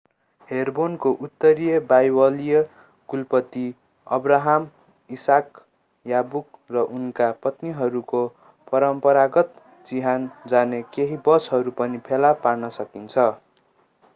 हेब्रोनको उत्तरतिर बाइबलीय कुलपिता अब्राहम इसाक याकुब र उनीहरूका पत्नीहरूको परम्परागत चिहान जाने केही बसहरू पनि फेला पार्न सकिन्छ